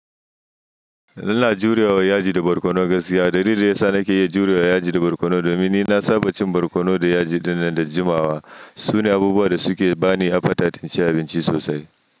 Ina jurewa yaji da barkono gaskiya. Dalili dayasa na ke jurewa yaji da barkono domin ni na saba cin barkono da yaji ɗinnan da jimawa. Sune abubuwan da suke bani appetite inci abinci sosai.